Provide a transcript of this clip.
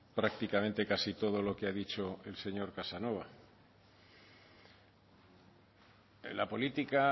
prácticamente casi todo lo que ha dicho el señor casanova la política